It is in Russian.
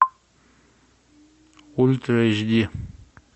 ультра эйч ди